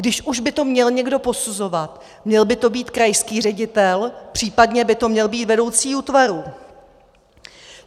Když už by to měl někdo posuzovat, měl by to být krajský ředitel, případně by to měl být vedoucí útvaru.